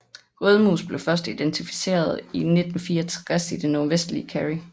Rødmus blev først identificeret i 1964 i det nordvestlige Kerry